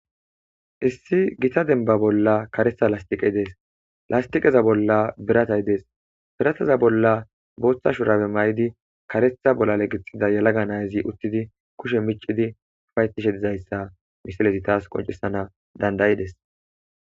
Issi gita denba bolla karetha lastiqey des lastiqeza bolla biratay dese birtataza bolla botha shurabe mayidi karetha bolale gixida yela nazi utidi kushe micidi ufayetishe dizaysa ha misiley tas qoncisan dand'ides